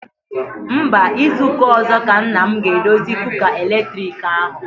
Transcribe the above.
Mba, izu ụka ọzọ ka nna m ga-edozi kuka eletriki ahụ.